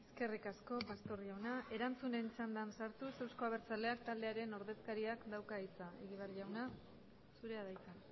eskerrik asko pastor jauna erantzunen txanda sartuz euzko abertzaleak taldearen ordezkariak dauka hitza